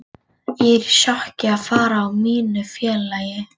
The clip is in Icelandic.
Ég er í sjokki að fara frá mínu félagi.